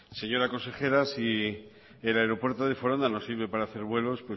señora consejera si el aeropuerto de foronda no nos sirve para hacer vuelos